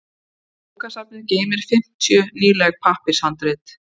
Bókasafnið geymdi fimmtíu nýleg pappírshandrit.